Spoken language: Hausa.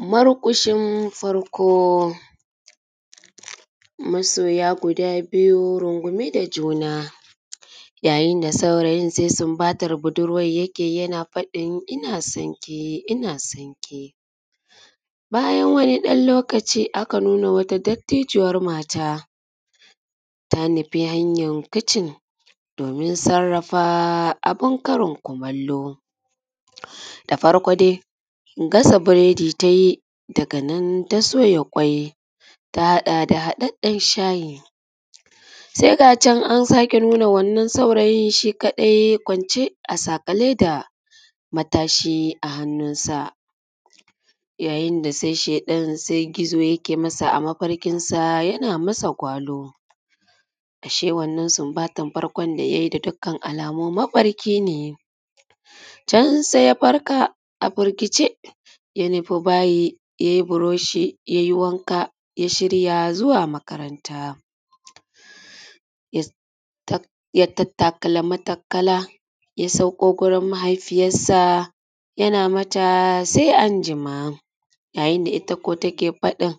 Marƙushin farko. Masoya guda biyu rungume da juna yayin da saurayin da saurayin sai sunbatar budurwan yake yi, yana faɗin ina sonki, ina sonki. Bayan wani ɗan lokaci aka nuno dattijuwan mata ta nufe hanyar kicin domin sarrafa abun karin kumallo. Da farko dai gasa biredi tayi daga nan ta soya kwai ta haɗa da haɗaɗɗan shayi. Sai ga can an sake nuno wannan saurayin shi kaɗai kwance a saƙale da matashi a hannunsa yayin da sai sheɗan sai gizo yake masa a mafarkinsa yana masa gwalo. Ashe wannan sunbatan farkon da ya yi da dukkan alamu mafarkine. Can sai ya farka a firgice ya nufe bayi yai buroshi ya yi wanka ya shirya zuwa makaranta. Ya tattakala matakala ya sauko gurin mahaifiyarsa yana mata sai anjima ya yin da ita ko take faɗin